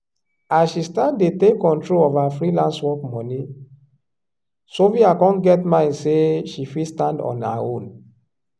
as she start dey take control of her freelance work money sophia con get mind say she fit stand on her own.